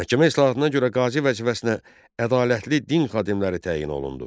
Məhkəmə islahatına görə qazı vəzifəsinə ədalətli din xadimləri təyin olundu.